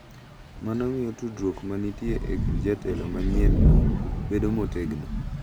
Mano miyo tudruok ma nitie e kind jatelo manyienno bedo motegno